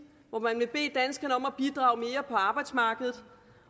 hvor man vil bede danskerne om at bidrage mere på arbejdsmarkedet